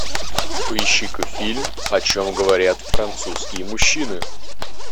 поищи ка фильм о чем говорят французские мужчины